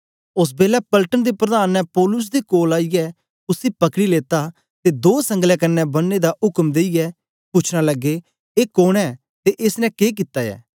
ओस बेलै पलटन दे प्रधान ने पौलुस दे कोल आईयै उसी पकड़ी लेता ते दो संगलें कन्ने बनने दा उक्म देईयै पूछना लगे ए कोन ऐ ते एस ने के कित्ता ऐ